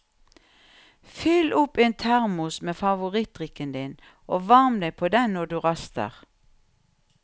Fyll opp en termos med favorittdrikken din og varm deg på den når du raster.